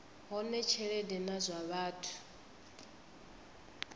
hone tshelede na zwa vhathu